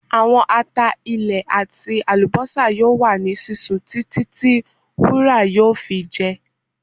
Awọn ata ilẹ ati alubosa yoo wa ni sisun titi ti wura yoo fi jẹ